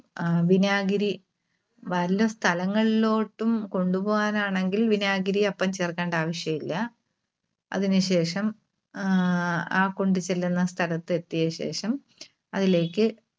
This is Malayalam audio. ആഹ് വിനാഗിരി വല്ല സ്ഥലങ്ങളിലോട്ടും കൊണ്ടുപോകാനാണെങ്കിൽ വിനാഗിരി അപ്പം ചേർക്കേണ്ട ആവശ്യമില്ല. അതിന് ശേഷം ആഹ് ആ കൊണ്ട് ചെല്ലുന്ന സ്‌ഥലത്ത് എത്തിയശേഷം അതിലേക്ക്